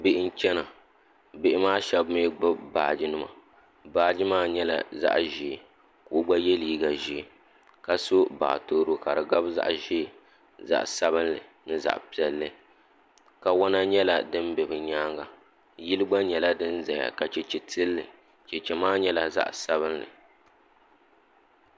Bihi n chana bihi maa shɛba mi gbubi baaji nima baaji maa nyɛla zaɣa ʒee ka o gba yɛ liiga ʒee ka so baatoro ka di gabi zaɣa ʒee zaɣa sabinli ni zaɣa piɛlli kawana nyɛla din bɛ bi nyaanga yili gba nyɛla din zaya ka cheche tili li cheche maa nyɛla zaɣa sabinli.